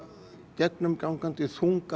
gegnumgangandi þungar